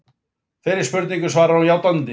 Þeirri spurningu svarar hún játandi